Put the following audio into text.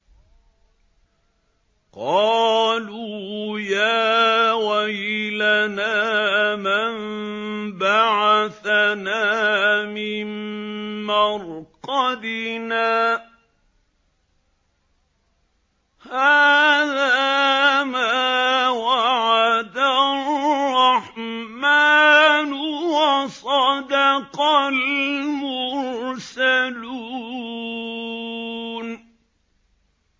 قَالُوا يَا وَيْلَنَا مَن بَعَثَنَا مِن مَّرْقَدِنَا ۜۗ هَٰذَا مَا وَعَدَ الرَّحْمَٰنُ وَصَدَقَ الْمُرْسَلُونَ